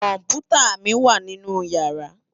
Kòmpútá mi wá ninú yàrá